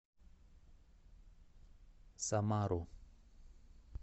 самару